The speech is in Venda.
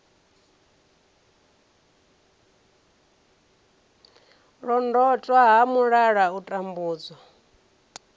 londotwa ha mulala u tambudzwa